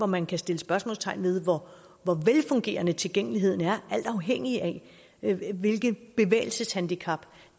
man kan sætte spørgsmålstegn ved hvor hvor velfungerende tilgængeligheden er alt afhængigt af hvilket bevægelseshandicap